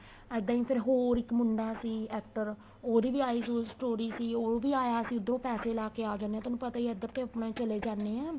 ਇੱਦਾਂ ਈ ਫੇਰ ਹੋਰ ਇੱਕ ਮੁੰਡਾ ਸੀ actor ਉਹਦੀ ਵੀ eyes ਉਈਸ ਥੋੜੀ ਜੀ ਉਹ ਵੀ ਆਇਆ ਸੀ ਉੱਧਰੋ ਪੈਸੇ ਲਾ ਕੇ ਆ ਜਾਨੇ ਏ ਤੁਹਾਨੂੰ ਪਤਾ ਈ ਏ ਇੱਧਰ ਤਾਂ ਆਪਣੇ ਚਲੇ ਜਾਨੇ ਏ